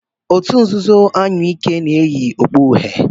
òtù nzuzo anyụike na-eyi okpu uhie.